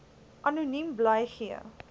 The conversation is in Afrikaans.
anoniem bly gee